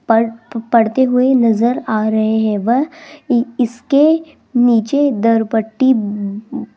पढ़ पढ़ते हुए नजर आ रहे हैं वह इसके नीचे दरपट्टि --